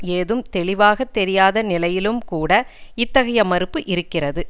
ஏதும் தெளிவாக தெரியாத நிலையிலும் கூட இத்தகைய மறுப்பு இருக்கிறது